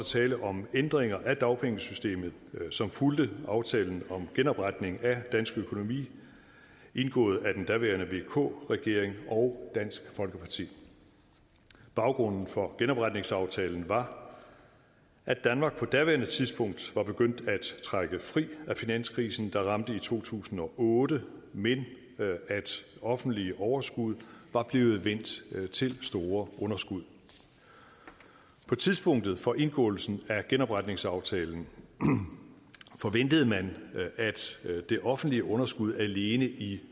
tale om ændringer af dagpengesystemet som fulgte aftalen om genopretning af dansk økonomi indgået af den daværende vk regering og dansk folkeparti baggrunden for genopretningsaftalen var at danmark på daværende tidspunkt var begyndt at trække fri af finanskrisen der ramte i to tusind og otte men at offentlige overskud var blevet vendt til store underskud på tidspunktet for indgåelsen af genopretningsaftalen forventede man at det offentlige underskud alene i